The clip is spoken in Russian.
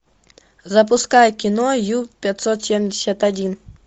запускай кино ю пятьсот семьдесят один